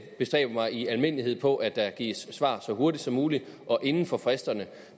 bestræber mig i almindelighed på at der gives svar så hurtigt som muligt og inden for fristerne